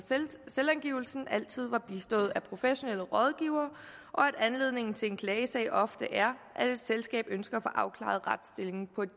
selvangivelsen altid var bistået af professionelle rådgivere og at anledningen til en klagesag ofte er at et selskab ønsker at få afklaret retsstillingen på et